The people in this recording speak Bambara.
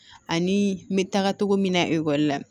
Ani n bɛ taga cogo min na ekɔli la